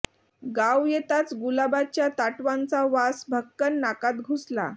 गाव येताच गुलाबाच्या ताटव्यांचा वास भक्कन नाकात घुसला